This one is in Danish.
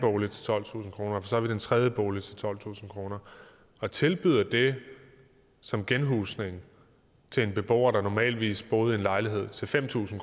bolig til tolvtusind kroner så vidt en tredje bolig til tolvtusind kroner og tilbyder det som genhusning til en beboer der normalvis bor i en lejlighed til fem tusind